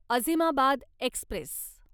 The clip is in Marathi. अझिमाबाद एक्स्प्रेस